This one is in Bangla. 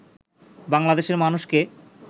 বাংলাদেশের মানুষকে